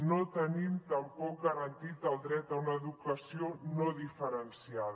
no tenim tampoc garantit el dret a una educació no diferenciada